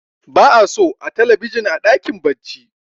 ba a so a talabijin a dakin bacci